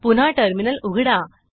पुन्हा टर्मिनल उघडा